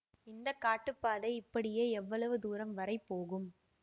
இந்த காட்டுப் பாதை இப்படியே எவ்வளவு தூரம் வரை போகும்